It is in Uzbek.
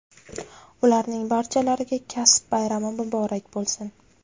ularning barchalariga kasb bayrami muborak bo‘lsin!.